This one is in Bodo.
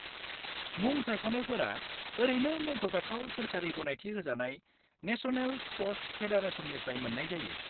-मुं सायख'नायफोरा ओरैनो मुंख'जाथाव सोरखारि गनायथि होजानाय नेसनेल स्प'र्टस फेडारेसननिफ्राय मोन्नाय जायो।